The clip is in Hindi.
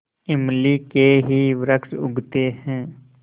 इमली के ही वृक्ष उगते हैं